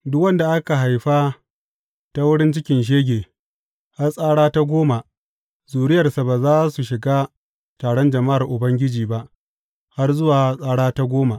Duk wanda aka haifa ta wurin cikin shege, har tsara ta goma, zuriyarsa ba za su shiga taron jama’ar Ubangiji ba, har zuwa tsara ta goma.